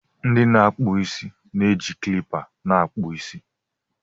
ndị na-akpụ isi na-eji kilipa na-akpụ isi